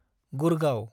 Gurgaon